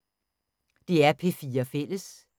DR P4 Fælles